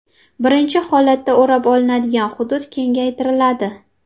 Birinchi holatda o‘rab olinadigan hudud kengaytiriladi.